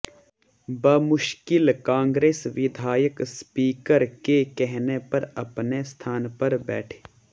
बमुश्किल कांग्रेस विधायक स्पीकर के कहने पर अपने स्थान पर बैठे